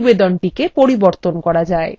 library ডেটাবেসএ